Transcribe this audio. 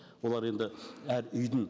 олар енді әр үйдің